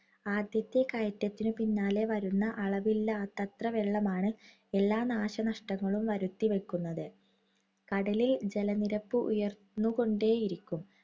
ആദ്യത്തെ കയറ്റത്തിനു പിന്നാലെ വരുന്ന അളവില്ലാത്തത്ര വെള്ളമാണ് എല്ലാ നാശനഷ്ടങ്ങളും വരുത്തി വയ്ക്കുന്നത്. കടലിൽ ജലനിരപ്പ് ഉയർന്നുകൊണ്ടേയിരിക്കും.